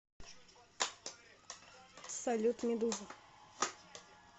салют медуза